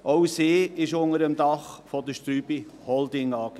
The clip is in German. Auch sie befindet sich unter dem Dach der Strüby Holding AG.